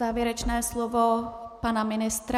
Závěrečné slovo pana ministra.